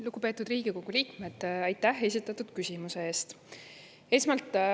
Lugupeetud Riigikogu liikmed, aitäh esitatud küsimuse eest!